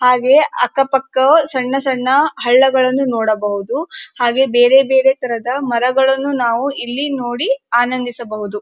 ಹಾಗೆಯೆ ಅಕ್ಕ ಪಕ್ಕ ಸಣ್ಣ ಸಣ್ಣ ಹಳ್ಳಗಳನ್ನು ನೋಡಬಹುದು ಹಾಗೆ ಬೇರೆ ಬೇರೆ ತರದ ಮರಗಳನ್ನು ನಾವು ಇಲ್ಲಿ ನೋಡಿ ಆನಂದಿಸಬಹುದು.